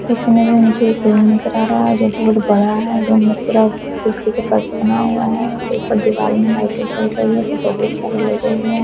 इस इमेज में मुझे एक रूम नजर आ रहा है जो की बहुत बड़ा है और रूम में पूरा बिजली के पास बना हुआ है। ऊपर दीवाल में लाइटें जल रही हैं जो बहुत सारी लगे हुए हैं।